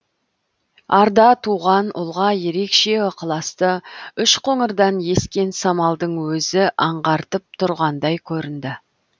арда туған ұлға ерекше ықыласты үшқоңырдан ескен самалдың өзі аңғартып тұрғандай көрінді